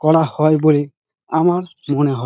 করা হয় বলে আমার মনে হ--